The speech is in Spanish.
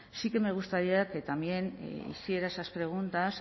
sí que me gustaría que también hiciera esas preguntas